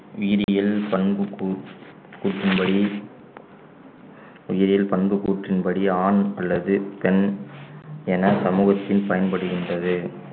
உயிரியல் பண்பு கூற்~ கூற்றின் படி உயிரில் பண்பு கூற்றின் படி ஆண் அல்லது பெண் என சமூகத்தில் பயன்படுகின்றது